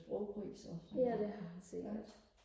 ja det har han sikkert